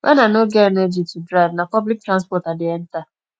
wen i no get energy to drive na public transport i dey enter